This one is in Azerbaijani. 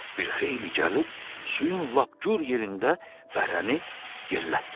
Bir xeyli gəlib, suyun lap gür yerində bərəni yellətdilər.